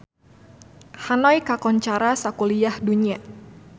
Hanoi kakoncara sakuliah dunya